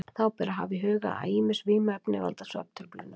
Þá ber að hafa í huga að ýmis vímuefni valda svefntruflunum.